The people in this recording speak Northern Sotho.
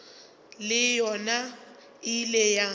le yona e ile ya